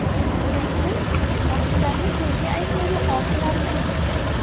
Nima emish: baxshilarni to‘yga aytgani or qilarmish.